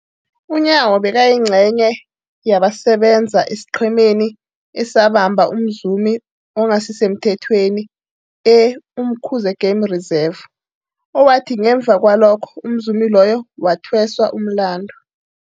UNyawo bekayingcenye yabasebenza esiqhemeni esabamba umzumi ongasisemthethweni e-Umkhuze Game Reserve, owathi ngemva kwalokho umzumi loyo wathweswa umlandu.